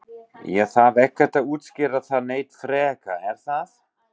Ég þarf ekkert að útskýra það neitt frekar er það?